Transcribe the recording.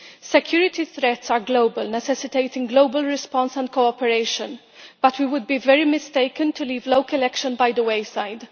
Security threats are global, necessitating global response and cooperation but we would be very mistaken to leave local action by the wayside.